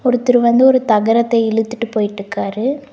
ஒருத்தரு வந்து ஒரு தகரத்த இலுத்துட்டு போயிட்ருக்காரு.